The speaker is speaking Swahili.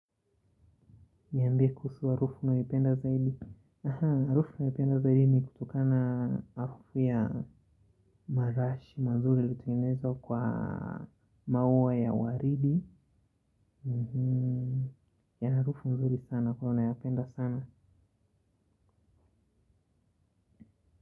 Niambia kuhusu harufu nayoipenda zaidi. Harufu naipenda zaidi ni kutokana harufu ya marashi mazuri ilitengenezwa kwa maua ya waridi. Ya harufu mzuri sana ko nayapenda sana.